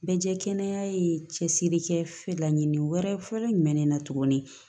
Bɛ jɛ kɛnɛya ye cɛsiri kɛ laɲini wɛrɛ ye fɔlɔ jumɛn ne na tuguni